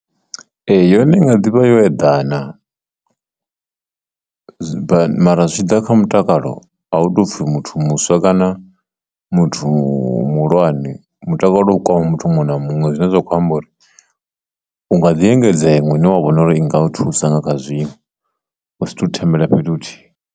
Ee, yone i nga ḓivha yo eḓana mara zwi tshi ḓa kha mutakalo a hu tou pfhi muthu muswa kana muthu muhulwane, mutakalo u kha muthu muṅwe na muṅwe zwine zwa khou amba uri unga ḓi engedza iṅwe ine wa vhona uri i nga u thusa nga kha zwiṅwe wa sa thu thembela fhethu huthihi.